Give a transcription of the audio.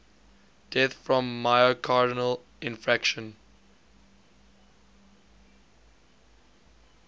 deaths from myocardial infarction